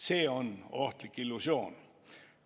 See on ohtlik illusioon.